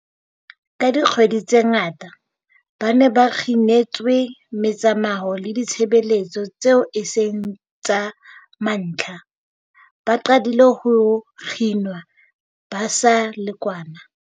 Ka dikgwedi tse ngata, ba ne ba kginetswe metsamao le ditshebeletso tseo e seng tsa mantlha, ba qadile ho kginwa ba sa le kwana